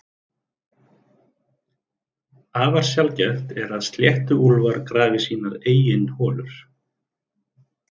Afar sjaldgæft er að sléttuúlfar grafi sínar eigin holur.